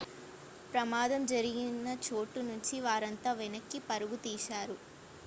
ప్రమాదం జరిగిన చోటు నుంచి వారంతా వెనక్కి పరుగులు తీశారు